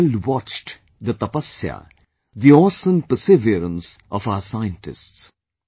The world watched the Tapasya, the awesome perseverance of our scientists